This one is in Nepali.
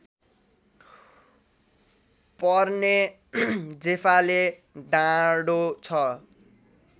पर्ने जेफाले डाँडो छ